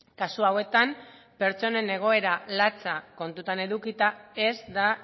kasu hauetan pertsonen egoera latza kontuan edukita ez da